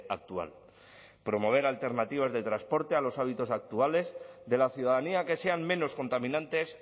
actual promover alternativas de transporte a los hábitos actuales de la ciudadanía que sean menos contaminantes